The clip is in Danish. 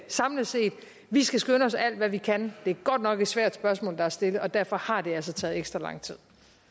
samlet set at vi skal skynde os alt hvad vi kan det er godt nok et svært spørgsmål der er stillet og derfor har det altså taget ekstra lang tid